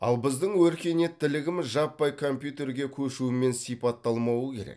ал біздің өркениеттілігіміз жаппай компьютерға көшумен сипатталмауы керек